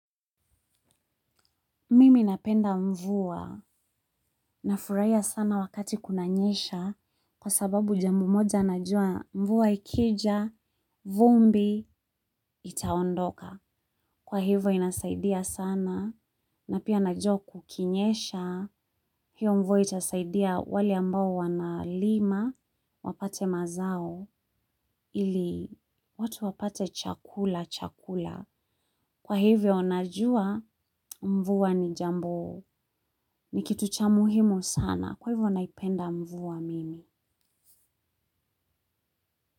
Mimi napenda mvuwa. Nafurahia sana wakati kunanyesha kwa sababu jambo moja najuwa mvuwa ikija vumbi itaondoka. Kwa hivyo inanisaidia sana, na pia najua kukinyesha, hiyo mvuwa itasaidia wale ambao wanalima, wapate mazao, ili watu wapate chakula cha kula. Kwa hivyo najua mvua ni jambo, ni kitu cha muhimu sana. Kwa hivo naipenda mvuwa mimi.